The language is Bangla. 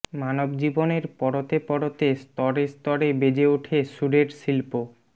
মানবজীবনের পরতে পরতে স্তরে স্তরে বেজে ওঠে সুরের শিল্প